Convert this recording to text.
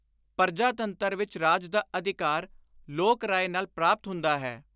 ਪਰਜਾਤੰਤਰ ਵਿਚ ਰਾਜ ਦਾ ਅਧਿਕਾਰ ਲੋਕ ਰਾਏ ਨਾਲ ਪ੍ਰਾਪਤ ਹੁੰਦਾ ਹੈ।